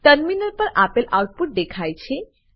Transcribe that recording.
terminal પર આપેલ output દેખાય છે